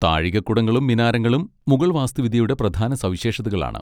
താഴികക്കുടങ്ങളും മിനാരങ്ങളും മുഗൾ വാസ്തുവിദ്യയുടെ പ്രധാന സവിശേഷതകളാണ്.